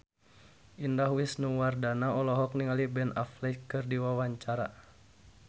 Indah Wisnuwardana olohok ningali Ben Affleck keur diwawancara